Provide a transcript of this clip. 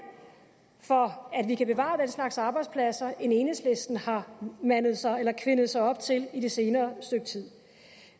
for at vi kan bevare den slags arbejdspladser end enhedslisten har mandet sig eller kvindet sig op til i det senere stykke tid